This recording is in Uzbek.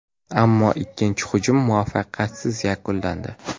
Ammo ikkinchi hujum muvaffaqiyatsiz yakunlandi.